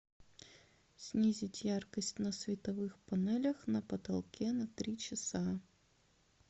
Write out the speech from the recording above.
снизить яркость на световых панелях на потолке на три часа